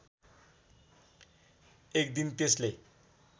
एक दिन त्यसले